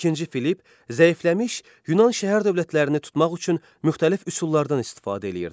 İkinci Filipp zəifləmiş Yunan şəhər dövlətlərini tutmaq üçün müxtəlif üsullardan istifadə edirdi.